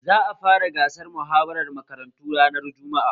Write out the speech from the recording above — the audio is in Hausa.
Za a fara gasar muhawara makarantu ranar jumma'a